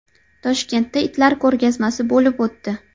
Toshkentda itlar ko‘rgazmasi bo‘lib o‘tdi .